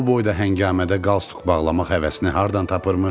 Bu boyda həngamədə qalsduq bağlamaq həvəsini hardan tapırmış.